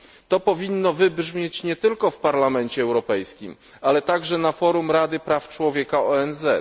To powinno wybrzmieć nie tylko w Parlamencie Europejskim, ale także na forum Rady Praw Człowieka ONZ.